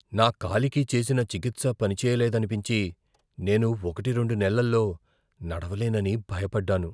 నా కాలికి చేసిన చికిత్స పనిచేయలేదనిపించి, నేను ఒకటి రెండు నెలల్లో నడవలేనని భయపడ్డాను.